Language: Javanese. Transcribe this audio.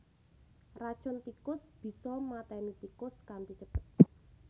Racun tikus bisa maténi tikus kanthi cepet